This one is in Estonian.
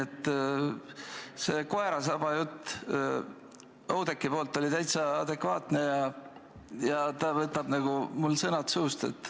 See koerasaba jutt Oudekkilt oli täitsa adekvaatne, ta võttis mul nagu sõnad suust.